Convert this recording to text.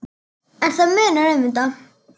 En það munar um þetta.